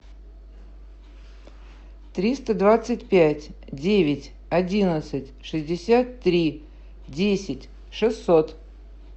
триста двадцать пять девять одиннадцать шестьдесят три десять шестьсот